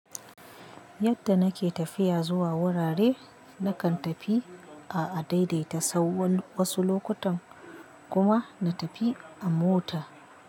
Yadda nake tafiya zuwa wurare, na kan tafi a adaidaita sahu wasu lokutan kuma na tafi a mota.